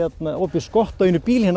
opið skott á einum bíl hérna